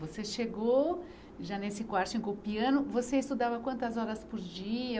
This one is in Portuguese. Você chegou já nesse quartinho com piano, você estudava quantas horas por dia?